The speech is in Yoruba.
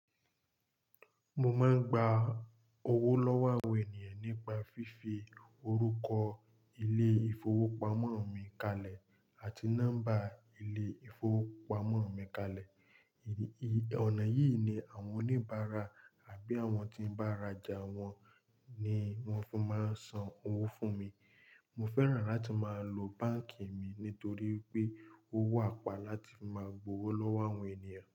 Mo máa ń gba owó lọ́wọ́ àwọn ènìyàn nípa fífi orúkọ ilé-ìfowópamọ́ mi kalẹ̀ àti nọ́mbà ilé-ìfowópamọ́ mi kalẹ̀. Ìrì, ì, ọ̀nà yìí ni àwọn oníbàárà àbí àwọn tí ń bá ara jà wọ́n ni wọ́n fún máa ń san owó fún mi. Mo fẹ́ràn láti máa lo báǹkì mi nítorí pé ó wà pa láti fi máa gba owó lọ́wọ́ àwọn ènìyàn.